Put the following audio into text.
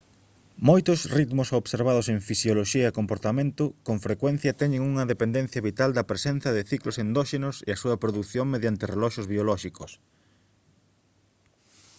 moitos ritmos observados en fisioloxía e comportamento con frecuencia teñen unha dependencia vital da presenza de ciclos endóxenos e a súa produción mediante reloxos biolóxicos